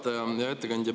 Hea ettekandja!